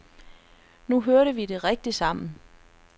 Nu hørte vi rigtig sammen.